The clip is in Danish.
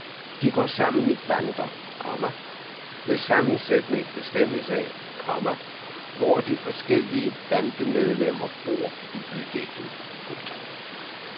De går sammen i bander, komma hvis sammensætning bestemmes af, komma hvor de forskellige bandemedlemmer bor i bydelen. punktum